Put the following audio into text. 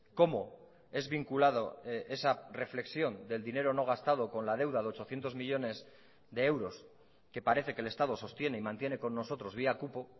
cómo es vinculado esa reflexión del dinero no gastado con la deuda de ochocientos millónes de euros que parece que el estado sostiene y mantiene con nosotros vía cupo